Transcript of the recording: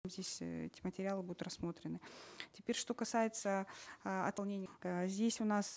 здесь эти материалы будут рассмотрены теперь что касается ы здесь у нас